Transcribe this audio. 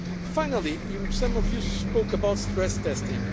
matter. Finally, some of you spoke about stress